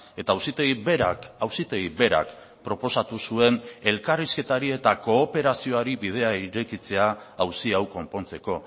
eta auzitegi berak auzitegi berak proposatu zuen elkarrizketari eta kooperazioari bidea irekitzea auzi hau konpontzeko